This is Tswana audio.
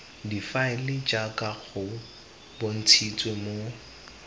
difaele jaaka go bontshitswe mo